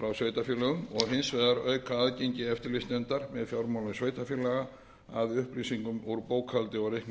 frá sveitarfélögum og hins vegar auka aðgengi eftir eftirlitsnefndar með fjármálum sveitarfélaga að upplýsingum úr bókhaldi og